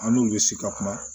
An n'u bɛ si ka kuma